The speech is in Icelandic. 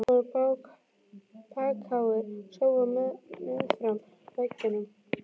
Það voru bakháir sófar meðfram veggjunum.